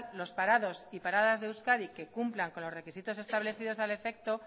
los parados y paradas de euskadi que cumplan con los requisitos establecidos al efecto